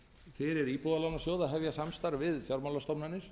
fyrir íbúðalánasjóð að hefja samstarf við fjármálastofnanir